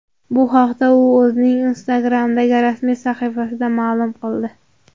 Bu haqda u o‘zining Instagram’dagi rasmiy sahifasida ma’lum qildi .